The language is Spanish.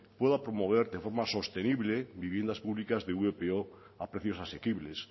pueda promover de forma sostenible viviendas públicas de vpo a precios asequibles